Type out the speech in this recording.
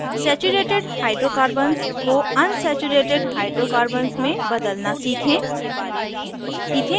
अब saturated hydrocarbons को unsaturated hydrocarbons में बदलना सीखें